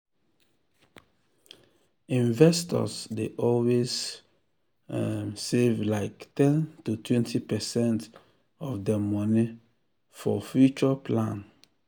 investors dey always um save like ten totwentypercent of dem money for future plan. um